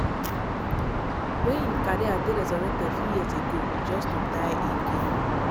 wey im career dey resurrected few years ago just to die again.